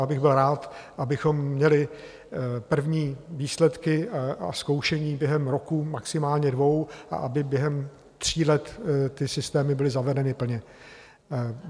Já bych byl rád, abychom měli první výsledky a zkoušení během roku, maximálně dvou, a aby během tří let ty systémy byly zavedeny plně.